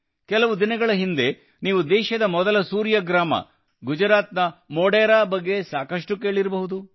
ಕೆಲವು ದಿನಗಳ ಹಿಂದೆ ನೀವು ದೇಶದ ಮೊದಲ ಸೂರ್ಯ ಗ್ರಾಮ ಗುಜರಾತ್ನ ಮೊಢೆರಾ ಬಗ್ಗೆ ಸಾಕಷ್ಟು ಕೇಳಿರಬಹುದು